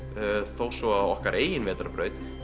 þó svo að okkar eigin vetrarbraut